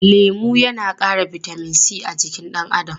Lemu yana ƙara bitamin c a jikin ɗan adam.